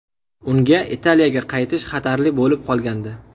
Unga Italiyaga qaytish xatarli bo‘lib qolgandi.